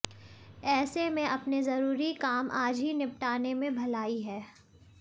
ऐसे में अपने जरूरी काम आज ही निपटाने में भलाई है